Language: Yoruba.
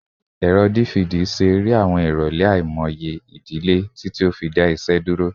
Ẹrọ DVD ṣe ere awọn irọlẹ aimọye idile titi o fi da iṣẹ duro